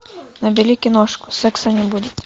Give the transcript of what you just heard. набери киношку секса не будет